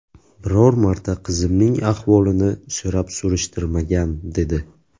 Biror marta qizimning ahvolini so‘rab-surishtirmagan, dedi.